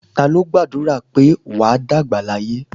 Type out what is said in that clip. Ta ló gbàdúrà pé "wà á dàgbà láyé"?